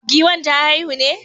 Giwan ta haihu ne?